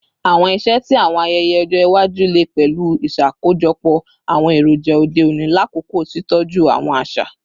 Awọn iṣẹ ti awọn ayẹyẹ ọjọ iwaju le pẹlu iṣakojọpọ awọn eroja ode oni lakoko titọju awọn aṣa